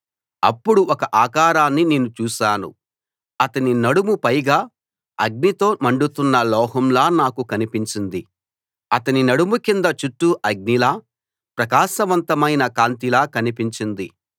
అప్పుడు ఒక ఆకారాన్ని నేను చూశాను అతని నడుము పైగా అగ్నితో మండుతున్న లోహంలా నాకు కనిపించింది అతని నడుము కింద చుట్టూ అగ్నిలా ప్రకాశవంతమైన కాంతిలా కనిపించింది